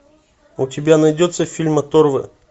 у тебя найдется фильм оторвы